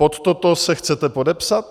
Pod toto se chcete podepsat?